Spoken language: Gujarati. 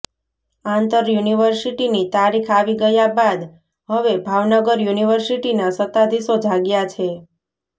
આંતર યુનિવર્સિટીની તારીખ આવી ગયા બાદ હવે ભાવનગર યુનિવર્સિટીના સત્તાધીશો જાગ્યા છે